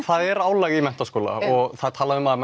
það er álag í menntaskóla og það er talað um að